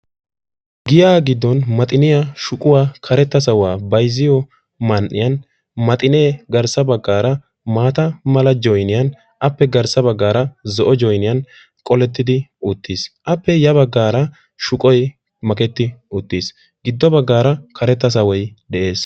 Giyaa giddon maxiniya, shuquwa, karetta sawuwa bayziyo man"iyan maxinee garssa baggaara maata mala joyiniyan appe garssa baggaara zo'o joyiniyan qolettidi uttiis. Appe ya baggaara shuqoy maketi uttiis. Giddo baggaara karetta sawoy de'es.